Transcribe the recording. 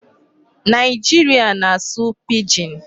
Nigeria na-asụ 'Pidgin'